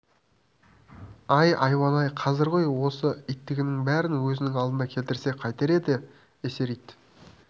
ай айуан-ай қазір ғой осы иттігінің бәрін өзінің алдына келтірсе қайтер еді эсэр ит